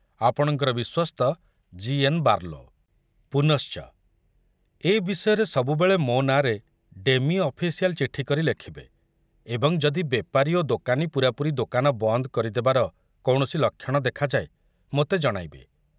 ଆପଣଙ୍କର ବିଶ୍ବସ୍ତ ଜି.ଏନ.ବାର୍ଲୋ ପୁନଶ୍ଚ ଏ ବିଷୟରେ ସବୁବେଳେ ମୋ ନାଁରେ ଡେମି ଅଫିସିଆଲ ଚିଠି କରି ଲେଖୁବେ ଏବଂ ଯଦି ବେପାରୀ ଓ ଦୋକାନୀ ପୂରାପୂରି ଦୋକାନ ବନ୍ଦ କରିଦେବାର କୌଣସି ଲକ୍ଷଣ ଦେଖାଯାଏ, ମୋତେ ଜଣାଇବେ।